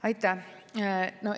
Aitäh!